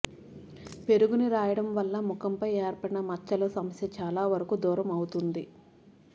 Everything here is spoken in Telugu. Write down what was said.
పెరుగుని రాయడం వల్ల ముఖంపై ఏర్పడిన మచ్చల సమస్య చాలా వరకూ దూరం అవుతుంది